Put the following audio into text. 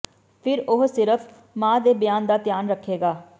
ਫਿਰ ਉਹ ਸਿਰਫ ਮਾਂ ਦੇ ਬਿਆਨ ਦਾ ਧਿਆਨ ਰੱਖੇਗਾ